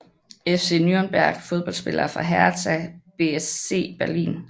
FC Nürnberg Fodboldspillere fra Hertha BSC Berlin